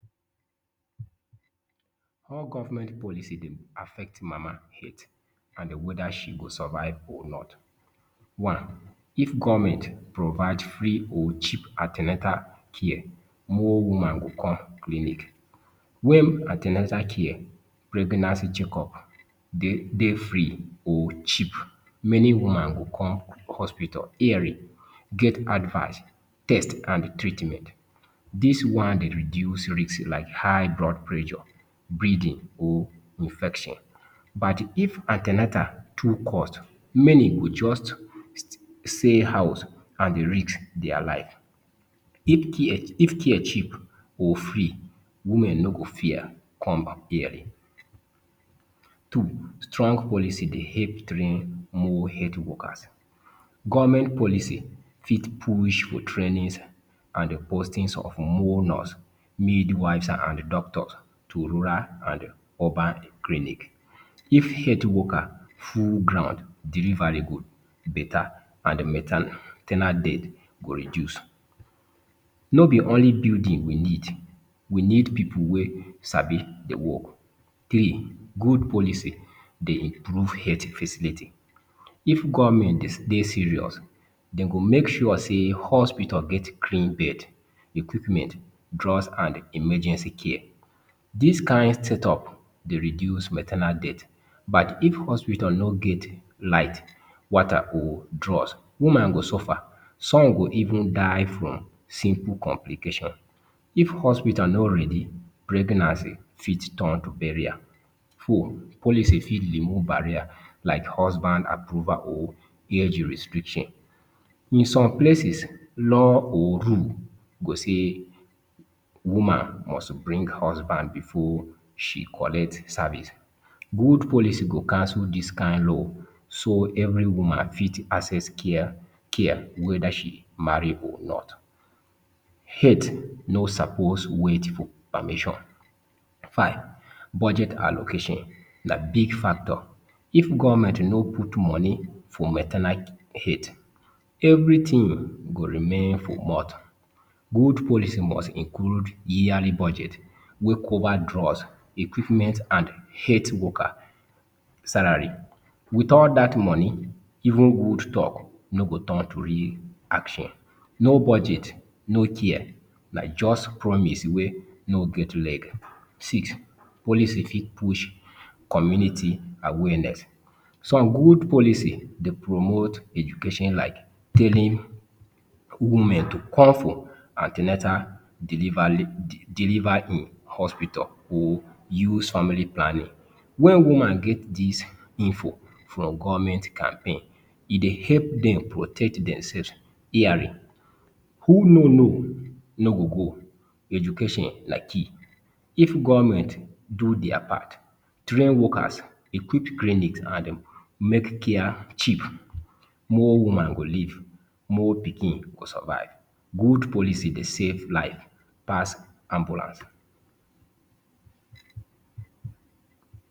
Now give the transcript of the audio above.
How government policy dem affect mama health an whether she go survive or not. One, If government provide free or cheap an ten atal care, more woman go come clinic: Wen an ten atal care, pregnancy checkup dey dey free or cheap, many woman go come hospital early, get advice, test, an treatment. Dis one dey reduce risks like high blood pressure, bleeding, or infection. But if an ten atal too cost, many go juz say house an risk dia life. If care if care cheap or free, women no go fear come early. Two, Strong policy dey help train more health workers: Government policy fit push for trainings an postings of more nurse, midwives, an doctors to rural an urban clinic. If health worker full ground, delivery go beta an maternal death go reduce. No be only building we need, we need pipu wey sabi the work. Three: Good policy dey improve health facility: If government dey dey serious, de go make sure sey hospital get clean bed, equipment, drugs, an emergency care. Dis kain set up dey reduce maternal death. But if hospital no get light, water, or drugs, woman go suffer, some go even die from simple complication. If hospital no ready, pregnancy fit turn to burial. Four, Policy fit remove barrier like husband approval or age restriction: In some places, law or rule go say woman must bring husband before she collect service. Good policy go cancel dis kain law so every woman fit access care care whether she marry or not. Health no suppose wait permission. Five, Budget allocation na big factor: If government no put money for maternal health, everything go remain for mud. Good policy must include yearly budget wey cover drugs, equipment and health worker salary. Without dat money, even Good talk no go turn to real action. No budget, no care, na juz promise wey no get leg. Six, Policy fit push community awareness: Some good policy dey promote education like telling women to come for an ten atal, deliver in hospital, or use family planning. Wen woman get dis info from government campaign, e dey help dem protect demsefs early. Who no know no go go. Education na key. If government do dia part, train workers, equip clinics, an um make care cheap, more woman go live, more pikin go survive. Good policy dey save life pass ambulance.